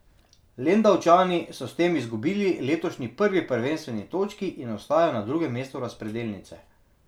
Lendavčani so s tem izgubili letošnji prvi prvenstveni točki in ostajajo na drugem mestu razpredelnice.